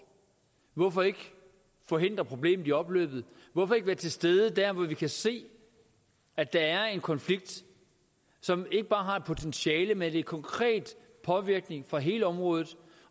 hvorfor ikke forhindre problemet i opløbet hvorfor ikke være til stede der hvor vi kan se at der er en konflikt som ikke bare har et farligt potentiale men er en konkret påvirkning på hele området